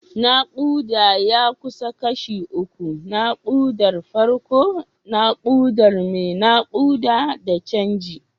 Nakuda ya kasu kashi uku: nakudar farko, nakudar mai nakuda, da canji.